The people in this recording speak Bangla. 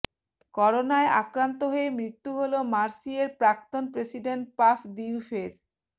করোনায় আক্রান্ত হয়ে মৃ্ত্যু হল মার্সেইয়ের প্রাক্তন প্রেসিডেন্ট পাফ দিউফের